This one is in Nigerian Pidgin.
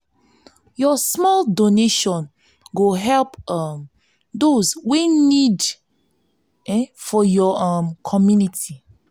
yur small donation go help um dose wey nid [ehn] for yur um community.